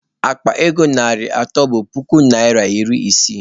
Akpa ego narị atọ bụ puku naịra iri isii